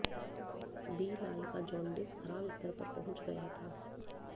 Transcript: बिलाल का जॉन्डिस खराब स्तर पर पहुंच गया था